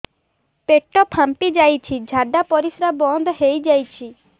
ପେଟ ଫାମ୍ପି ଯାଇଛି ଝାଡ଼ା ପରିସ୍ରା ବନ୍ଦ ହେଇଯାଇଛି